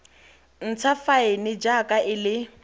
ntsha faene jaaka e le